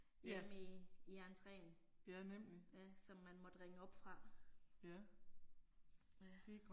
Hjemme i i entreen, ja som man måtte ringe op fra. Ja